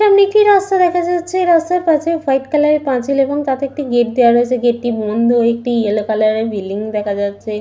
এর নিচে রাস্তা দেখা যাচ্ছেরাস্তার পাশে হোয়াইট কালার এর পাঁচিল এবং তাতে একটি গেট দেওয়া রয়েছে ।গেট টি বন্ধ ।একটি ইয়েলো কালার এর বিল্ডিং দেখা যাচ্ছে।